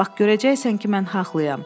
Bax görəcəksən ki, mən haqlıyam.